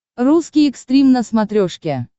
русский экстрим на смотрешке